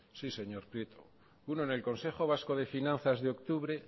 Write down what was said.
sí señor prieto uno en el consejo vasco de finanzas de octubre